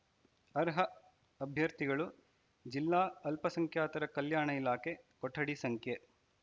ಅರ್ಹ ಅಭ್ಯರ್ಥಿಗಳು ಜಿಲ್ಲಾ ಅಲ್ಪಸಂಖ್ಯಾತರ ಕಲ್ಯಾಣ ಇಲಾಖೆ ಕೊಠಡಿ ಸಂಖ್ಯೆ